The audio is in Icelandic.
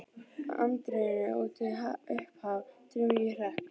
Í anddyrinu úti uppaf draumi ég hrekk.